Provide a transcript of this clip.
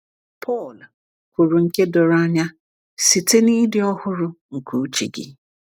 “Pọl kwuru nke doro anya, ‘site n’ịdị ọhụrụ nke uche gị.’”